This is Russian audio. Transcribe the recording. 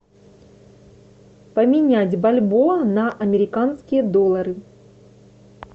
поменять бальбоа на американские доллары